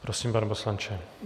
Prosím, pane poslanče.